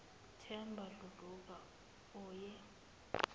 themba dludlu oyi